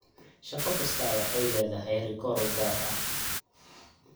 Shaqo kastaa waxay leedahay rikoor u gaar ah.